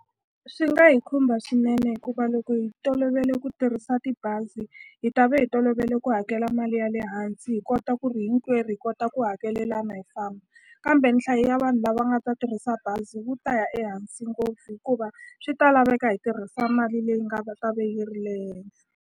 Swi nga hi khumba swinene hikuva loko hi tolovele ku tirhisa tibazi hi ta va hi tolovele ku hakela mali ya le hansi hi kota ku ri hinkwerhu hi kota ku hakelelana hi famba kambe nhlayo ya vanhu lava nga ta tirhisa bazi wu ta ya ehansi ngopfu hikuva swi ta laveka hi tirhisa mali leyi nga va ve yi ri le henhla.